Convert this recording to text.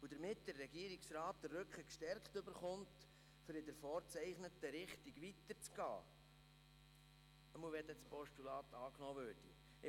Damit der Regierungsrat den Rücken gestärkt erhält, um in der vorgezeichneten Richtung weiterzugehen, sollte das Postulat angenommen werden.